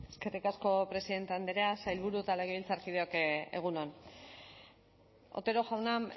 eskerrik asko presidente andrea sailburu eta legebiltzarkideok egun on otero jauna